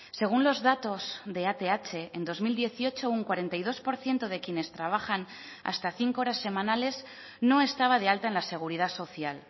según los datos de ath en dos mil dieciocho un cuarenta y dos por ciento de quienes trabajan hasta cinco horas semanales no estaba de alta en la seguridad social